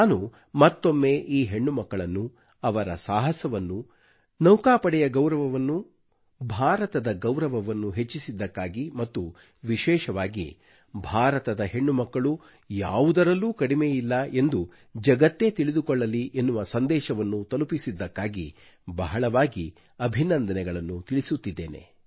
ನಾನು ಮತ್ತೊಮ್ಮೆ ಈ ಹೆಣ್ಣುಮಕ್ಕಳನ್ನು ಅವರ ಸಾಹಸವನ್ನು ನೌಕಾಪಡೆಯ ಗೌರವವನ್ನು ಭಾರತದ ಗೌರವವನ್ನು ಹೆಚ್ಚಿಸಿದ್ದಕ್ಕಾಗಿ ಮತ್ತು ವಿಶೇಷವಾಗಿ ಭಾರತದ ಹೆಣ್ಣುಮಕ್ಕಳು ಯಾವುದರಲ್ಲೂ ಕಡಿಮೆಯಿಲ್ಲ ಎಂದು ಜಗತ್ತೇ ತಿಳಿದುಕೊಳ್ಳಲಿ ಎನ್ನುವ ಸಂದೇಶವನ್ನು ತಲುಪಿಸಿದ್ದಕ್ಕಾಗಿ ಬಹಳವಾಗಿ ಅಭಿನಂದನೆಗಳನ್ನು ತಿಳಿಸುತ್ತಿದ್ದೇನೆ